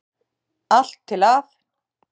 Allt til að